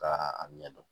Ka a ɲɛdɔn